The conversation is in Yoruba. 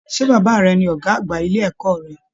Ṣe bàbá rẹ̀ ní ọgá àgbà ilé ẹ̀kọ́ rẹ?